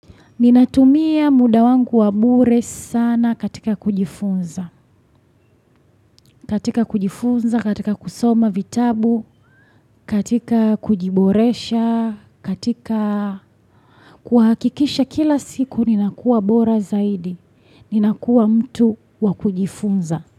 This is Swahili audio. Ninatumia muda wangu wabure sana katika kujifunza, katika kujifunza, katika kusoma vitabu, katika kujiboresha, katika kuhakikisha kila siku ninakua bora zaidi, ninakua mtu wakujifunza.